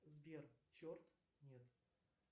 сбер черт нет